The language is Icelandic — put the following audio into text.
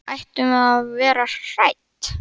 Ættum við að vera hrædd?